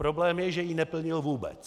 Problém je, že ji neplnil vůbec.